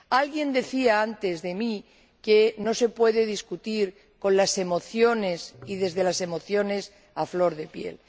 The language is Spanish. Alguien decía antes de mí que no se puede debatir con las emociones y desde las emociones a flor de piel.